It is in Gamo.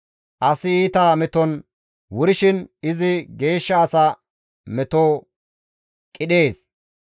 Asi iita meton wurshin izi geeshsha asa meto qidhees.